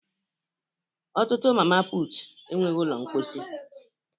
Ọtụtụ Mama putu enweghị ụlọ mposi